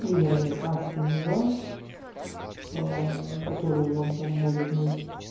вернее кастомный ранг который вам там будет на